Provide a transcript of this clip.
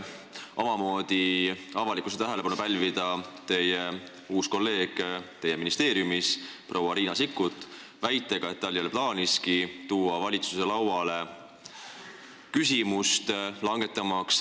Mai esimesel poolel pälvis teie uus kolleeg ministeeriumis proua Riina Sikkut avalikkuse tähelepanu väitega, et tal ei ole plaaniski tuua valitsuse lauale ravimite käibemaksu määra langetamise küsimust.